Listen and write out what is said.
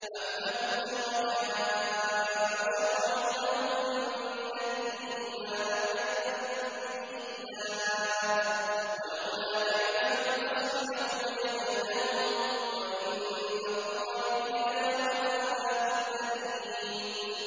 أَمْ لَهُمْ شُرَكَاءُ شَرَعُوا لَهُم مِّنَ الدِّينِ مَا لَمْ يَأْذَن بِهِ اللَّهُ ۚ وَلَوْلَا كَلِمَةُ الْفَصْلِ لَقُضِيَ بَيْنَهُمْ ۗ وَإِنَّ الظَّالِمِينَ لَهُمْ عَذَابٌ أَلِيمٌ